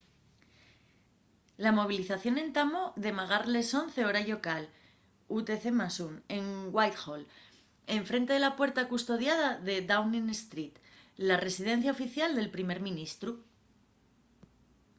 la movilización entamó de magar les 11:00 hora llocal utc+1 en whitehall en frente de la puerta custodiada de downing street la residencia oficial del primer ministru